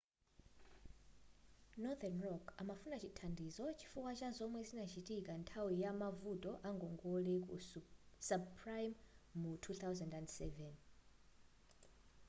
northern rock amafuna chithandizo chifukwa cha zomwe zinachitika nthawi yamavuto a ngongole ku subprime mu 2007